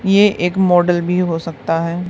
ये एक मॉडल भी हो सकता है।